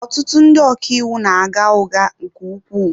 Ọtụtụ ndị ọka iwu na-agha ụgha nke ukwuu.